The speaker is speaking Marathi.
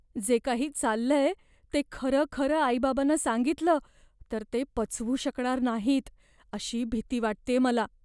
जे काही चाललंय ते खरंखरं आई बाबांना सांगितलं तर ते पचवू शकणार नाहीत अशी भीती वाटतेय मला.